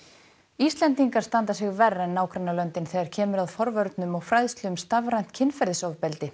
Íslendingar standa sig verr en nágrannalöndin þegar kemur að forvörnum og fræðslu um stafrænt kynferðisofbeldi